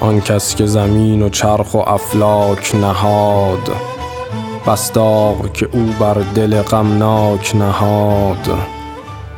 آن کس که زمین و چرخ و افلاک نهاد بس داغ که او بر دل غمناک نهاد